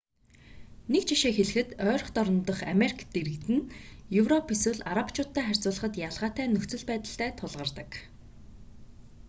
нэг жишээ хэлэхэд ойрхи дорнод дахь америк иргэд нь европ эсвэл арабчуудтай харьцуулахад ялгаатай нөхцөл байдалтай тулгардаг